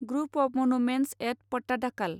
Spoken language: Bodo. group of monuments at Pattadakal